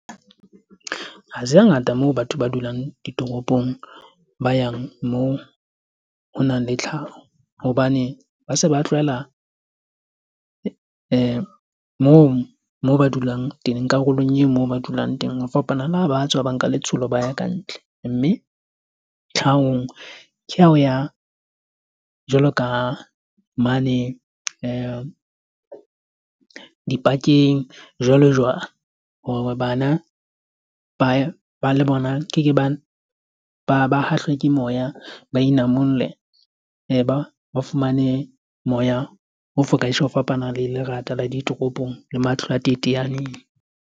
Ha se hangata moo batho ba dulang ditoropong, ba yang moo ho nang le tlhaho. Hobane ba se ba tlwaela moo moo ba dulang teng karolong e moo ba dulang teng. Ho fapana le ha ba tswa ba nka letsholo ba ya ka ntle. Mme tlhahong ke ha o ya jwalo ka mane di-park-eng jwalo jwalo. Hore bana ba ba le bona, ke ke ba ba ba hahlwe ke moya. Ba inamolle ba ba fumane moya o fokang ho fapana le lerata la ditoropong le matlo a teteaneng.